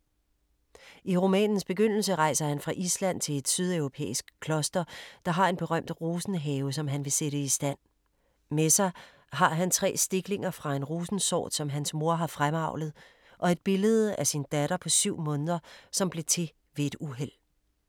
I romanens begyndelse rejser han fra Island til et sydeuropæisk kloster, der har en berømt rosenhave, som han vil sætte i stand. Med sig har han tre stiklinger fra en rosensort som hans mor har fremavlet og et billede af sin lille datter på syv måneder, som blev til ved et uheld.